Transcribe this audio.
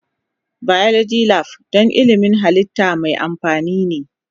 Biology Lab don ilmin halitta mai amfani ne.